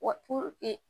Wa